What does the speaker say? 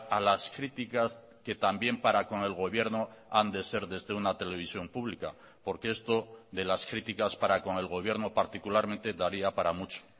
a las críticas que también para con el gobierno han de ser desde una televisión pública porque esto de las críticas para con el gobierno particularmente daría para mucho